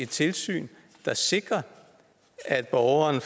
tilsyn der sikrer at borgeren